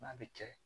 N'a bɛ kɛ